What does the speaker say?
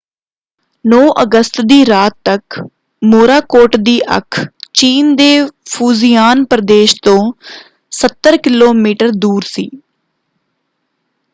9 ਅਗਸਤ ਦੀ ਰਾਤ ਤੱਕ ਮੋਰਾਕੋਟ ਦੀ ਅੱਖ ਚੀਨ ਦੇ ਫੂਜ਼ੀਆਨ ਪ੍ਰਦੇਸ਼ ਤੋਂ ਸੱਤਰ ਕਿਲੋਮੀਟਰ ਦੂਰ ਸੀ।